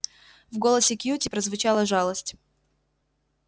в голосе кьюти прозвучала жалость